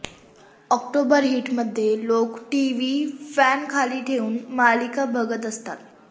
October हीटमध्ये लोक TV फॅनखाली ठेवून मालिका बघत असतात